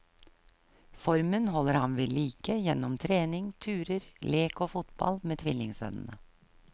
Formen holder han ved like gjennom trening, turer, lek og fotball med tvillingsønnene.